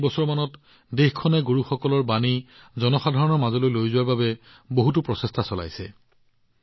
যোৱা কেইবছৰমানত দেশখনে গুৰুসকলৰ পোহৰ জনসাধাৰণৰ মাজত বিয়পাই দিবলৈ বহুতো প্ৰচেষ্টা চলাইছে